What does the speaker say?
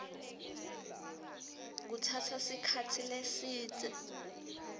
kutsatsa sikhatsi lesidze